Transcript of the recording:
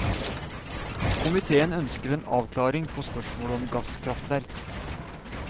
Komitéen ønsker en avklaring på spørsmålet om gasskraftverk.